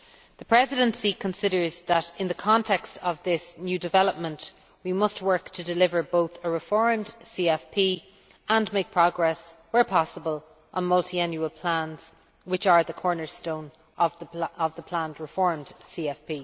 The Presidency considers that in the context of this new development we must work to deliver both a reformed CFP and make progress, where possible, on Multiannual Plans which are the cornerstone of the planned reformed CFP.